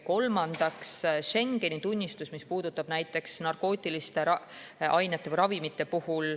Kolmandaks, Schengeni tunnistus, mis puudutab näiteks narkootilisi ravimeid.